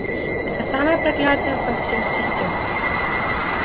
это самая проклятая во всех систем